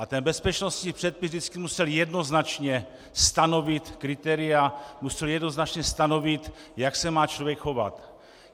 A ten bezpečnostní předpis vždycky musel jednoznačně stanovit kritéria, musel jednoznačně stanovit, jak se má člověk chovat.